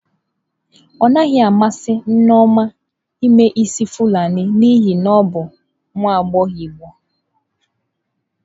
Ọ naghị amasị Nneoma ime isi fulani n'ihi na ọ bụ nwa agbọghọ igbo.